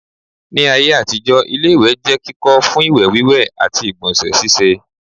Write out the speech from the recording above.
Ní ayé àtijọ́ ilé-ìwẹ̀ jẹ́ kíkọ́ fún ìwẹ̀ wíwẹ̀ àti ìgbọ̀nsẹ̀ síse